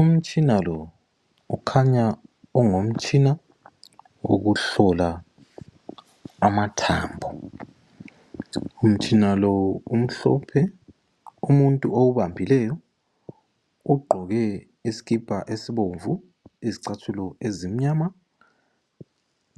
Umtshina lo kukhanya ungumtshina wokuhlola amathambo. Umtshina lo umhlophe umuntu owubambileyo ugqoke isikipa esibomvu, izicathulo ezimnyama